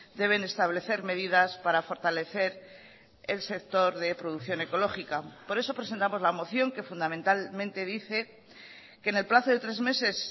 deben establecer medidas para fortalecer el sector de producción ecológica por eso presentamos la moción que fundamentalmente dice que en el plazo de tres meses